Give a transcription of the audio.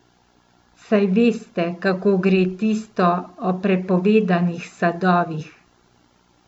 Saj veste, kako gre tisto o prepovedanih sadovih.